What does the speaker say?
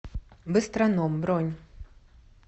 быстроном бронь